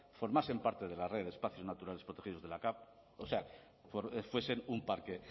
formasen parte de la red de espacios naturales protegidos de la capv o sea fuesen un parque